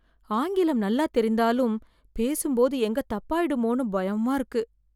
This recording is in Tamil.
ஆங்கிலம் நல்லா தெரிந்தாலும் பேசும்போது எங்க தப்பாயிடுமோன்னு பயமா இருக்கு